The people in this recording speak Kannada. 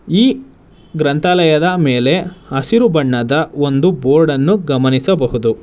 ಈ ಗ್ರಂಥಾಲಯದ ಮೇಲೆ ಹಸಿರು ಬಣ್ಣದ ಒಂದು ಬೋರ್ಡ್ ಅನ್ನು ಗಮನಿಸಬಹುದು.